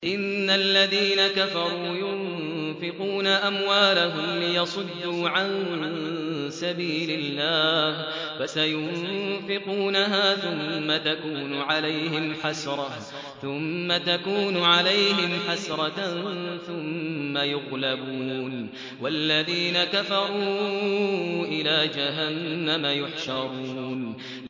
إِنَّ الَّذِينَ كَفَرُوا يُنفِقُونَ أَمْوَالَهُمْ لِيَصُدُّوا عَن سَبِيلِ اللَّهِ ۚ فَسَيُنفِقُونَهَا ثُمَّ تَكُونُ عَلَيْهِمْ حَسْرَةً ثُمَّ يُغْلَبُونَ ۗ وَالَّذِينَ كَفَرُوا إِلَىٰ جَهَنَّمَ يُحْشَرُونَ